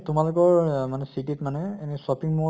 তোমালোকৰ অহ মানে city ত মানে এনে shopping mall